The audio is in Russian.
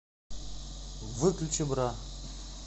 выключи бра